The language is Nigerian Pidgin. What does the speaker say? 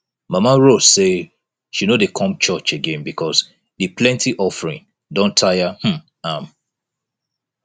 mama rose say she no dey come church again because the plenty offering don tire um am